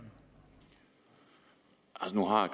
opnå bare